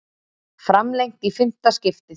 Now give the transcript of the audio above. Framlengt í fimmta skiptið